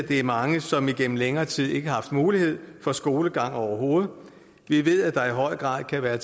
det er mange som igennem længere tid ikke har haft mulighed for skolegang overhovedet vi ved at der i høj grad kan være